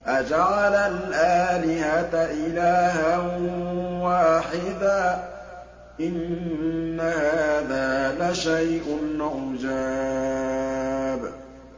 أَجَعَلَ الْآلِهَةَ إِلَٰهًا وَاحِدًا ۖ إِنَّ هَٰذَا لَشَيْءٌ عُجَابٌ